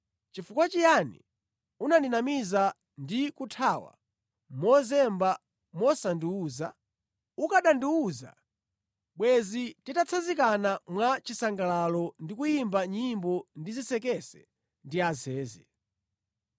Chifukwa chiyani unandinamiza ndi kuthawa mozemba wosandiwuza? Ukanandiwuza, bwezi titatsanzikana mwa chisangalalo ndi kuyimba nyimbo ndi zisekese ndi azeze.